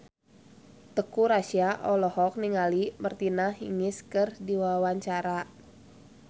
Teuku Rassya olohok ningali Martina Hingis keur diwawancara